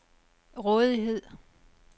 rådighed